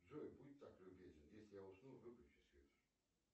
джой будь так любезен если я усну выключи свет